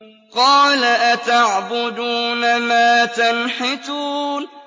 قَالَ أَتَعْبُدُونَ مَا تَنْحِتُونَ